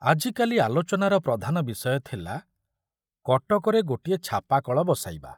ଆଜିକାଲି ଆଲୋଚନାର ପ୍ରଧାନ ବିଷୟ ଥିଲା କଟକରେ ଗୋଟିଏ ଛାପାକଳ ବସାଇବା।